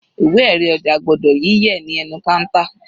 Ìwé erí ọjà gbọ́dọ̀ yí yẹ̀ ní ẹnu counter.